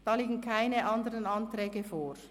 Dazu liegen keine anderen Anträge vor.